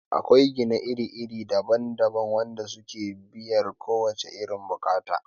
Akwai gine gine iri daban daban wanda suke biyar kowace irin bukata